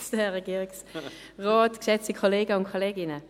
Das Wort ist frei für Grossrätin Hässig.